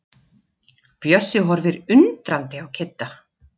Bjössi horfir undrandi á Kidda.